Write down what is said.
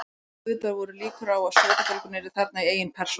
Og auðvitað voru líkur á að sökudólgurinn yrði þarna í eigin persónu.